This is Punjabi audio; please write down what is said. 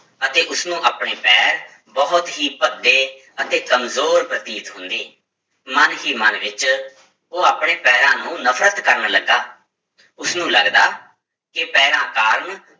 ਅਤੇ ਉਸਨੂੰ ਆਪਣੇ ਪੈਰ ਬਹੁਤ ਹੀ ਭੱਦੇ ਅਤੇ ਕੰਮਜ਼ੋਰ ਪ੍ਰਤੀਤ ਹੁੰਦੇ, ਮਨ ਹੀ ਮਨ ਵਿੱਚ ਉਹ ਆਪਣੇ ਪੈਰਾਂ ਨੂੰ ਨਫ਼ਰਤ ਕਰਨ ਲੱਗਾ, ਉਸਨੂੰ ਲੱਗਦਾ ਕਿ ਪੈਰਾਂ ਕਾਰਨ